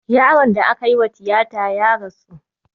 Yaron da aka yi wa tiyata ya rasu